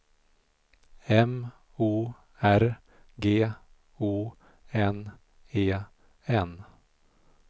M O R G O N E N